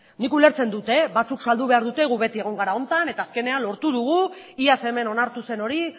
nik ulertzen dut batzuk saldu behar dute gu beti egon gara honetan eta azkenean lortu dugu iaz hemen onartu zen hori